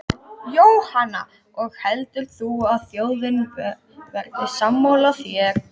Jóhanna: Og heldur þú að þjóðin verði sammála þér?